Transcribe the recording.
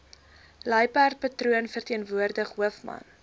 luiperdpatroon verteenwoordig hoofman